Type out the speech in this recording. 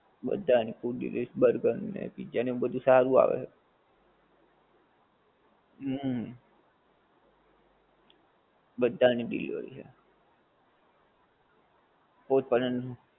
બધાની food delivery burger ને pizza ને એવું બધુ સારું આવે. હુંમ બધાની delivery છે. કોઈ પણ એનું